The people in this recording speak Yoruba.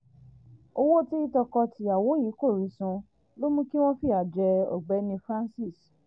owó tí tọkọ-tìyàwó yìí kò rí san ló mú kí wọ́n fìyà jẹ ọ̀gbẹ́ni francise